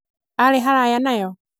arĩ haraya nayo?